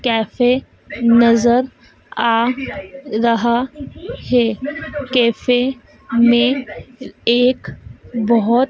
Cafe नजर आ रहा है कैफे में एक बहुत।